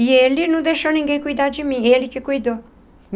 E ele não deixou ninguém cuidar de mim, ele que cuidou.